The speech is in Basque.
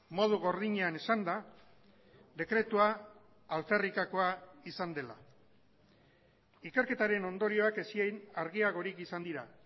modu gordinean esanda dekretua alferrikakoa izan dela ikerketaren ondorioak ezin argiagorik izan dira